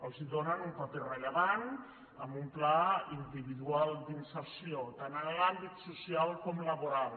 els donen un paper rellevant amb un pla individual d’inserció tant en l’àmbit social com laboral